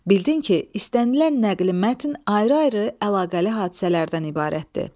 Bildin ki, istənilən nəqli mətn ayrı-ayrı əlaqəli hadisələrdən ibarətdir.